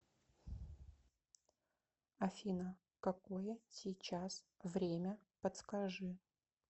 афина какое сейчас время подскажи